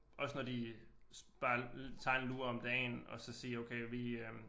Også når de bare tager en lur om dagen og så sige okay vi øh